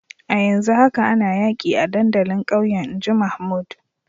A yanzu haka ana yaki a dandalin kauyen in ji Mahmood.